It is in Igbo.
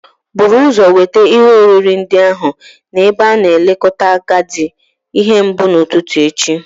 Buru ụzọ weta ihe oriri ndị ahụ n'ebe a na-elekọta ndị agadi ihe mbụ n'ụtụtụ echi